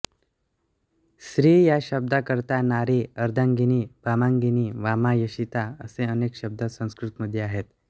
स्त्री या शब्दाकरता नारी अर्धांगिनी वामांगिनी वामा योषिता असे अनेक शब्द संस्कृतमध्ये आहेत